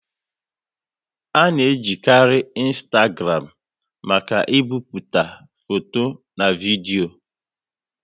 A na e jikari Ịnstagram maka ị bipụta foto na vidio